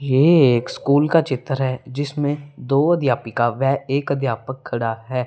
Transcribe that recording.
ये एक स्कूल का चित्र है जिसमें दो अध्यापिका वे एक अध्यापक खड़ा है।